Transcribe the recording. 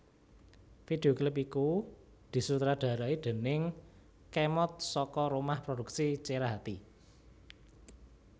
Video klip iku disutradarai déning Khemod saka rumah produksi Cerahati